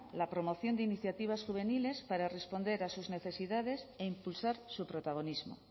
la promoción de iniciativas juveniles para responder a sus necesidades e impulsar su protagonismo